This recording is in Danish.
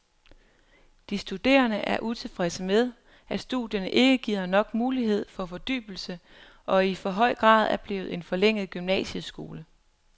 De studerende er utilfredse med, at studierne ikke giver nok mulighed for fordybelse og i for høj grad er blevet en forlænget gymnasieskole.